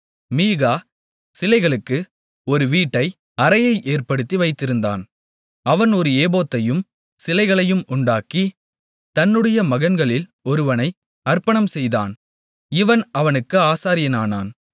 மீகா சிலைகளுக்கு ஒரு வீட்டை அறையை ஏற்படுத்தி வைத்திருந்தான் அவன் ஒரு ஏபோத்தையும் சிலைகளையும் உண்டாக்கி தன்னுடைய மகன்களில் ஒருவனை அர்ப்பணம் செய்தான் இவன் அவனுக்கு ஆசாரியனானான்